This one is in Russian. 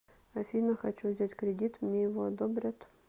афина хочу взять кредит мне его одобрят